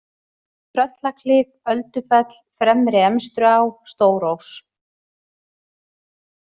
Tröllaklif, Öldufell, Fremri-Emstruá, Stórós